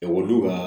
Ekɔlidenw ka